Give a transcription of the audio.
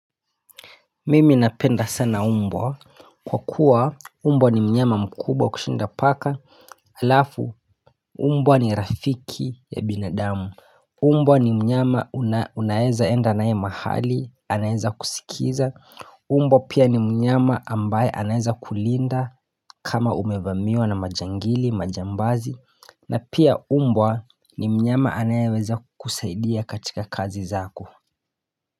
Mimi napenda sana umbwa Kwa kuwa umbwa ni mnyama mkubwa kushinda paka Alafu umbwa ni rafiki ya binadamu Umbwa ni mnyama unaeza enda naye mahali anaweza kusikiza Umbwa pia ni mnyama ambaye anaweza kulinda kama umevamiwa na majangili majambazi na pia umbwa ni mnyama anayeweza kukusaidia katika kazi zako.